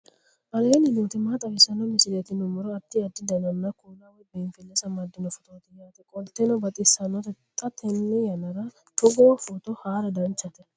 aleenni nooti maa xawisanno misileeti yinummoro addi addi dananna kuula woy biinsille amaddino footooti yaate qoltenno baxissannote xa tenne yannanni togoo footo haara danchate